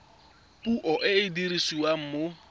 puo e e dirisiwang mo